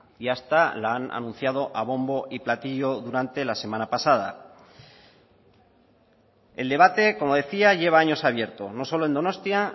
y hasta la han anunciado a bombo y platillo durante la semana pasada el debate como decía lleva años abierto no solo en donostia